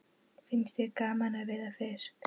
Finnst þér gaman að veiða fisk?